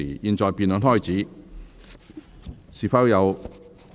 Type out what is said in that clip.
現在辯論開始，是否有委員想發言？